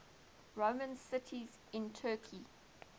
roman sites in turkey